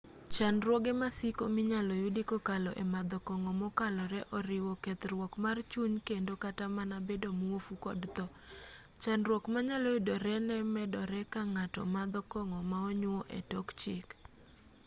chandruoge ma siko minyalo yudi kokalo e madho kong'o mokalore oriwo kethruok mar chuny kendo kata mana bedo muofu kod tho chandruok manyalo yudore no medore ka ng'ato madho kong'o ma onyuo e tok chik